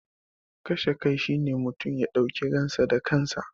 Kashe kai shi ne mutum ya dauki ransa da kansa.